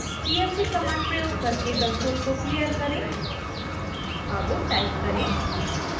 clc command प्रयोग करके console को क्लियर करें अब टाइप करें